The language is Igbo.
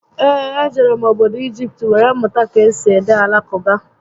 Ee, e jere m obodo Igipt were mụta ka esi ede Alakụba